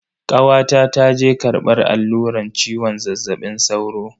Kawata ta je karbar alluran ciwon zazzabin sauro.